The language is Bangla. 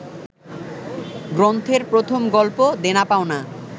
গ্রন্থের প্রথম গল্প দেনা পাওনা